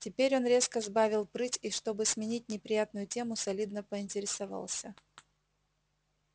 теперь он резко сбавил прыть и чтобы сменить неприятную тему солидно поинтересовался